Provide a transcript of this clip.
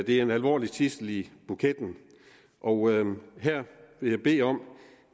er en alvorlig tidsel i buketten og her vil jeg bede om